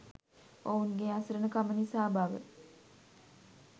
ඔවුන්ගේ අසරණකම නිසා බව